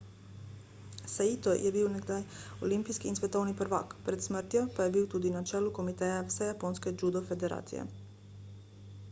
saito je bil nekdaj olimpijski in svetovni prvak pred smrtjo pa je bil tudi na čelu komiteja vsejaponske judo federacije